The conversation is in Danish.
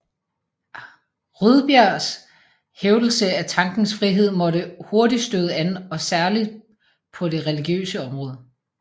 Rydbergs hævdelse af tankens frihed måtte hurtig støde an og særlig paa det religiøse område